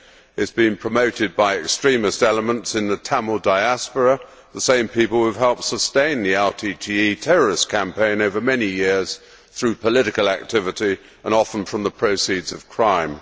It is being promoted by extremist elements in the Tamil diaspora, the same people who have helped sustain the LTTE terrorist campaign over many years through political activity, and often from the proceeds of crime.